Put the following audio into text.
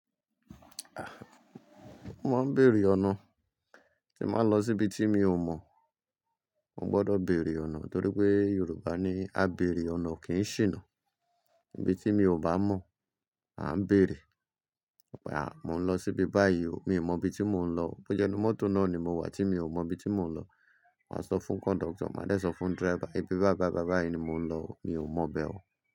Mo máa ń béèrè ọ̀nà tí ń bàá ń lọ síbi tí mi ò mọ̀. Mo gbọdọ̀ béèrè ọ̀nà torí pé Yorùbá ní "Á bèrè ọ̀nà kì í ṣìnà". Ibi tí mi ò bá mọ̀, à ń bèrè. À, mò ń lọ síbi báyìí o, mi ò mọ ibi tí mò ń lọ. Bó jẹ́nu mọ́tò náà ni mo wà tí mi ò mọ ibi tí mò ń lọ. Màá sọ fún conductor, màá dé sọ fún driver, "ìbí bá bá bá báyìí ni mò ń lọ o, mi ò mọ̀ bẹ o"